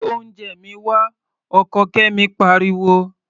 Gbé oúnjẹ mi wá! Ọkọ Kẹ́mi pariwo.